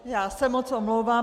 Já se moc omlouvám.